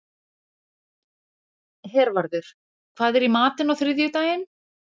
Hervarður, hvað er í matinn á þriðjudaginn?